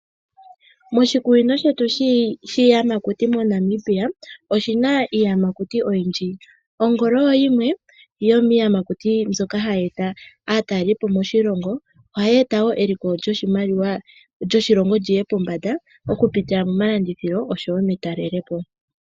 Moshikunini shetu shiyamakuti moNamibia oshina iiyamakuti oyindji ongolo oyo yimwe yomiiyamakuti mbyoka hayi eta aatalelipo moshilongo, ohayi eta wo eliko lyoshilongo lyiye pombanda okupitila momalandithilo osho wo metalelepo.